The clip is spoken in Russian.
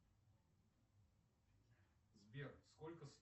сбер сколько